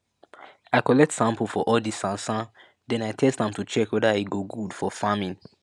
i collect sample for all di sansan den i test am to check weada e go good for farming